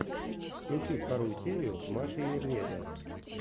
включи вторую серию маши и медведя